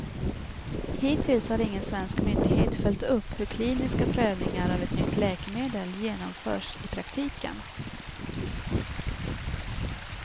Hittills har ingen svensk myndighet följt upp hur kliniska prövningar av ett nytt läkemedel genomförs i praktiken.